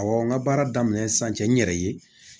Awɔ n ka baara daminɛ sisan cɛ n yɛrɛ ye